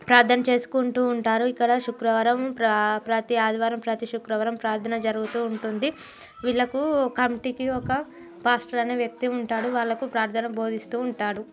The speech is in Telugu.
ప్రార్థన చేసుకుంటూ ఉంటారు ఇక్కడ శుక్రవారం ప్రా-ప్రతి ఆదివారం ప్రతి శుక్రవారం ప్రార్థన జరుగుతూ ఉంటుంది. వీళ్ళకు కమిటీకి కి ఒక పాస్టర్ అనే వ్యక్తి వుంటాడు వాళ్ళకు ప్రార్థన బోదిస్తూ ఉంటాడు.